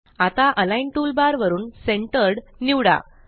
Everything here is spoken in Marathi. आता अलिग्न टूलबार वरून सेंटर्ड निवडा